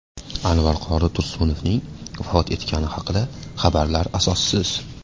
Anvar qori Tursunovning vafot etgani haqidagi xabarlar asossiz .